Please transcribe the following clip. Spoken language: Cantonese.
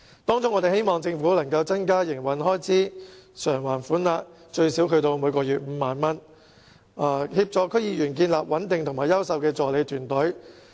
當中，我們希望政府能增加營運開支償還款額至最少每月5萬元，以協助區議員建立穩定而優秀的助理團隊。